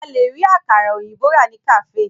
A lè rí àkàrà òyìnbó rà ní kàféè.